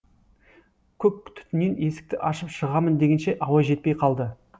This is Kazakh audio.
көк түтіннен есікті ашып шығамын дегенше ауа жетпей қалды